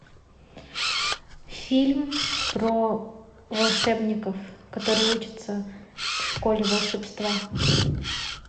фильм про волшебников которые учатся в школе волшебства